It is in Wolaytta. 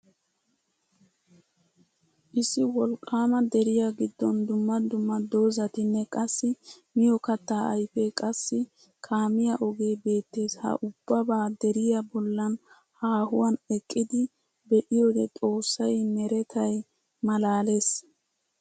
Issi wolqqaama deriya giddon dumma dumma doozzatinne qassi miyo kattaa ayfee qassi kaamiya ogee beettes ha ubbabaa deriya bollan haahuwan eqqidi be'iyode xoossay meretay malaales.